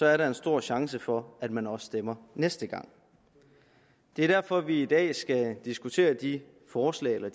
er der en stor chance for at man også stemmer næste gang det er derfor vi i dag skal diskutere de forslag eller